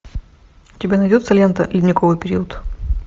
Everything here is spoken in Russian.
у тебя найдется лента ледниковый период